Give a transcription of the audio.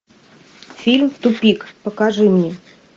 фильм тупик покажи мне